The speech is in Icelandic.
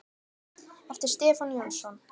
eftir Stefán Jónsson